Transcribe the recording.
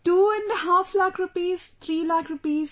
5 lakh rupees, three lakh rupees